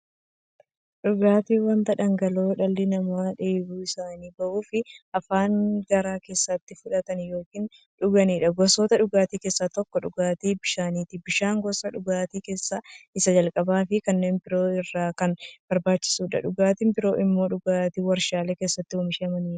Dhugaatiin wanta dhangala'oo dhalli namaa dheebuu isaanii ba'uuf, afaaniin gara keessaatti fudhatan yookiin dhuganiidha. Gosoota dhugaatii keessaa tokko dhugaatii bishaaniti. Bishaan gosa dhugaatii keessaa isa jalqabaafi kanneen biroo irra kan barbaachisuudha. Dhugaatiin biroo immoo dhugaatii waarshalee keessatti oomishamaniidha.